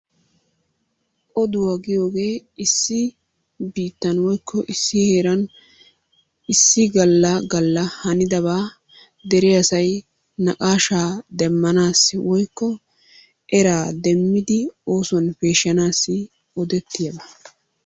Oduwa giyoogee issi biittan woyikko issi heeran issi galla galla hanidabaa dere asay naqaashaa demmanaassi woyikko eraa demmidi oosuwan peeshshanaassi odettiyaaba.